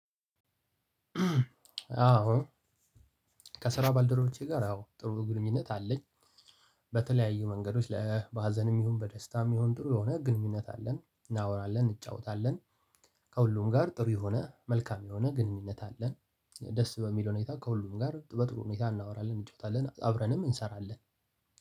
አዎ ከስራ ባልደረቦቼ ጋር አዎ ጥሩ ግንኙነት አለኝ። በተለያዩ መንገዶች ለ በሀዘንም ይሁን በደስታም ይሁን ጥሩ የሆነ ግንኙነት አለን እናወራለን እንጫወታለን። ከሁሉም ጋር ጥሩ የሆነ መልካም የሆነ ግንኙነት አለን። ደስ በሚል ሁኔታ ከሁሉም ጋር በጥሩ ሁኔታ እናወራለን እንጫወታለን አብረንም እንሰራለን።